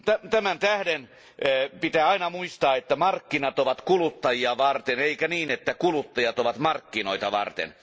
Tämän vuoksi pitää aina muistaa, että markkinat ovat kuluttajia varten eikä niin, että kuluttajat ovat markkinoita varten.